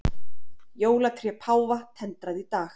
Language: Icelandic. Jólatré páfa tendrað í dag